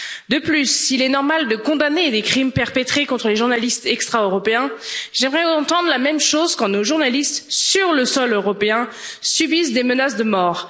De plus, s'il est normal de condamner des crimes perpétrés contre les journalistes extra européens, j'aimerais entendre la même chose quand nos journalistes, sur le sol européen, subissent des menaces de mort.